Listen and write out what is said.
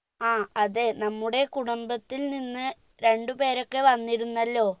ആ അതെ നമ്മുടെ കുടുംബത്തിൽ നിന്ന് രണ്ടുപേരൊക്കെ വന്നിരുന്നല്ലോ